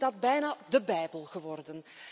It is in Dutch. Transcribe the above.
Voor ons is dat bijna de bijbel geworden.